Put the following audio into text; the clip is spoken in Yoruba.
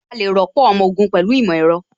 A lè rọ́pò ọmọ ogun pẹ̀lú ìmọ̀ ẹ̀rọ